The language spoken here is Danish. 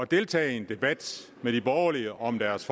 deltage i en debat med de borgerlige om deres